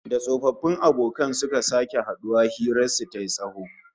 Da tsofaffin abokan suka sake haduwa, hirar su tayi tsawo